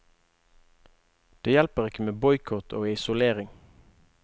Det hjelper ikke med boikott og isolering.